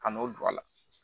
Ka n'o don a la